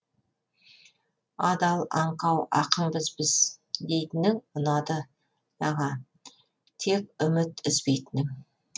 адал аңқау ақынбыз біз дейтінің ұнады аға тек үміт үзбейтінің